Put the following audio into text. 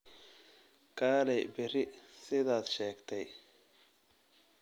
Kaalay berri sidaad sheegtay